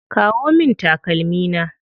Kawo min takalmi na.